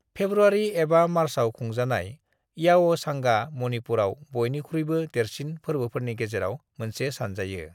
"February एबा मार्चआव खुंजानाय, याओसांगा मणिपुराव बयनिख्रुयबो देरसिन फोर्बोफोरनि गेजेराव मोनसे सानजायो।"